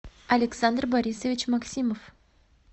александр борисович максимов